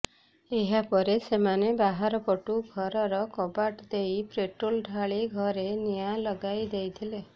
ଏହାପରେ ସେମାନେ ବାହାର ପଟୁ ଘରର କବାଟ ଦେଇ ପେଟ୍ରୋଲ ଢାଳି ଘରେ ନିଅଁା ଲଗାଇଦେଇଥିଲେ